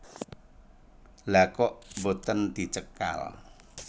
Lha kok boten dicekal